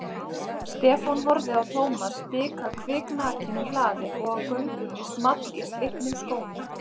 Stefán horfði á Thomas stika kviknakinn um hlaðið og á göngunni small í slitnum skónum.